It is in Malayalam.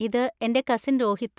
ഇത് എന്‍റെ കസിൻ രോഹിത്.